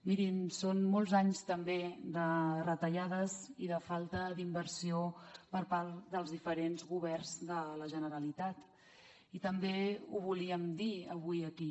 mirin són molts anys també de retallades i de falta d’inversió per part dels diferents governs de la generalitat i també ho volíem dir avui aquí